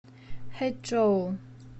хэчжоу